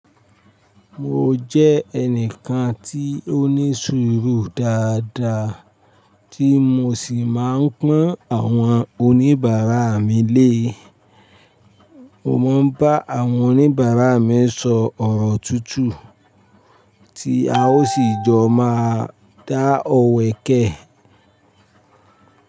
Mo jẹ́ ẹnìkan tí ó ní sùúrù dáadáa tí mo sì máa ń pọ́n àwọn oníbàárà mi lé. Mo máa ń bá àwọn oníbàárà mi sọ ọ̀rọ̀ tútù tí a ó sì jọ máa dá ọ̀wẹ́ kẹ̀.